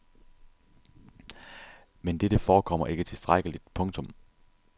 Men dette forekommer ikke tilstrækkeligt. punktum